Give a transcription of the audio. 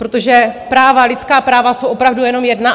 Protože práva, lidská práva jsou opravdu jenom jedna.